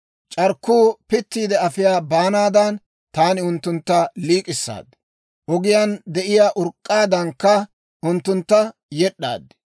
C'arkkuu pittiide afiyaa baanaadan taani unttuntta liik'issaad; ogiyaan de'iyaa urk'k'aadankka unttuntta yed'd'aad.